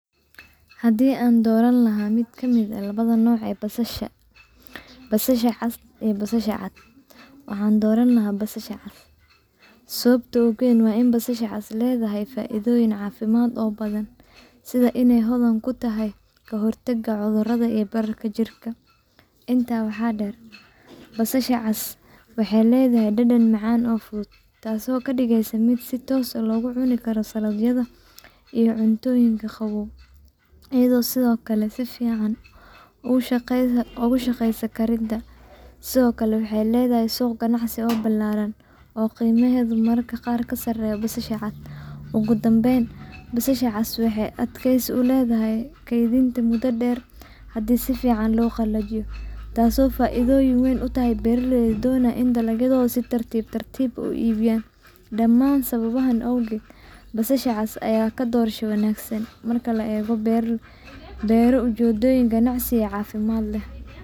Haddii aan dooran lahaa miit ka miit ah labada nooc ee ka mid ah basasha — basasha cas iyo basasha cad — waxaan dooran lahaa basasha cas. Sababta ugu weyn ee aan u dooranayo basasha cas waa in ay leedahay faa’iidooyin caafimaad oo badan, sida inay hodan ku tahay dawooyinka dabiiciga ah, inay ka hortagto bararka jirka, iyo inay . Intaas waxaa dheer, basasha cas waxay leedahay dhadhan macaan oo fudud, taasoo ka dhigaysa mid ku habboon karinta cuntooyin kala duwan iyo isticmaalka cayriin ahaan, sida salad-ka. Sidoo kale, basasha cas waxay si fiican ugu shaqeysaa suuqyada ganacsiga, iyadoo leh suuq ballaaran oo ka sarreeya midka basasha cad. Ugu dambeyn, basasha cas waxay leedahay adkaysi dheer marka si fiican loo qalajiyoiyo muddo keydin wanaagsan, taasoo faa’iido weyn u leh beeraleyda donayo in dalagodha si tartiib tariib u ibiyaan dhamaan sababahas owgoot basasha cas ayaaa ka door wangsan oo cafimaat leeh .